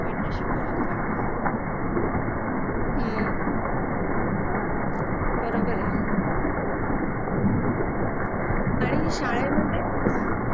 आणि शाळेमध्ये